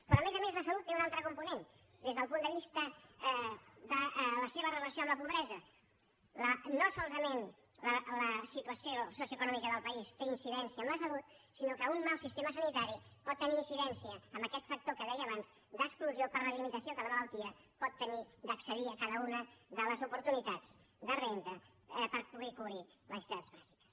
però a més a més la salut té un altre component des del punt de vista de la seva relació amb la pobresa no solament la situació socioeconòmica del país té incidència en la salut sinó que un mal sistema sanitari pot tenir incidència en aquest factor que deia abans d’exclusió per la limitació que la malaltia pot tenir d’accedir a cada una de les oportunitats de renda per poder cobrir necessitats bàsiques